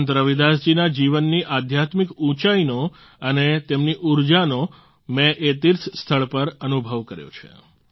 સંત રવિદાસ જીના જીવનની આધ્યાત્મિક ઉંચાઈનો અને તેમની ઉર્જાનો મેં એ તીર્થસ્થળ પર અનુભવ કર્યો છે